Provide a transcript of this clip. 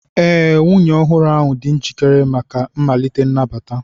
Ee, nwunye ọhụrụ ahụ dị njikere maka mmalite nnabata.